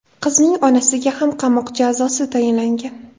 Qizning onasiga ham qamoq jazosi tayinlangan.